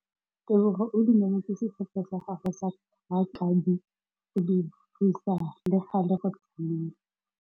Tebogô o dumeletse setlhopha sa gagwe sa rakabi go dirisa le galê go tshameka.